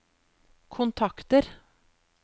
kontakter